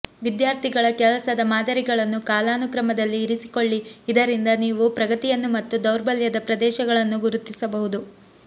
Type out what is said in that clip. ವಿದ್ಯಾರ್ಥಿಗಳ ಕೆಲಸದ ಮಾದರಿಗಳನ್ನು ಕಾಲಾನುಕ್ರಮದಲ್ಲಿ ಇರಿಸಿಕೊಳ್ಳಿ ಇದರಿಂದ ನೀವು ಪ್ರಗತಿಯನ್ನು ಮತ್ತು ದೌರ್ಬಲ್ಯದ ಪ್ರದೇಶಗಳನ್ನು ಗುರುತಿಸಬಹುದು